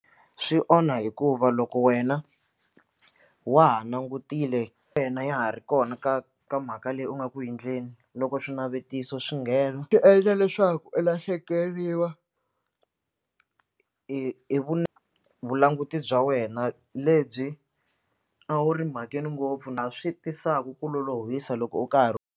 Swi onha hikuva loko wena wa ha langutile yena ya ha ri kona ka ka mhaka leyi u nga ku endleni loko swinavetiso swi nghena swi endla leswaku u lahlekeriwa hi vulanguti bya wena lebyi a wu ri mhakeni ngopfu na swi tisaka ku lolohisa loko u karhi.